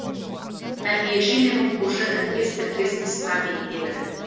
тәрбиеші мен оқушы іркес тіркес тысқа беттеді